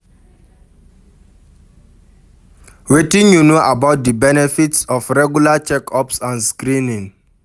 Wetin you know about di benefits of regular check-ups and screenings?